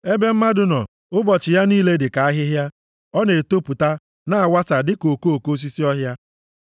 Ebe mmadụ nọ, ụbọchị ya niile dị ka ahịhịa, ọ na-etopụta, na-awasa dịka okoko osisi ọhịa,